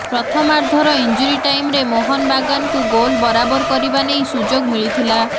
ପ୍ରଥମାର୍ଦ୍ଧର injury ଟାଇମ୍ରେ ମୋହନ ବାଗାନକୁ ଗୋଲ ବରାବର କରିବା ନେଇ ସୁଯୋଗ ମିଳିଥିଲା